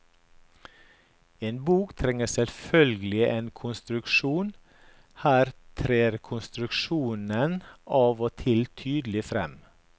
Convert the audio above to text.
En bok trenger selvfølgelig en konstruksjon, her trer konstruksjonen av og til tydelig frem.